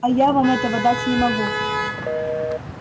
а я вам этого дать не могу